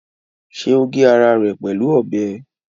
Ṣé o gé ara rẹ̀ pẹ̀lú ọbẹ̀?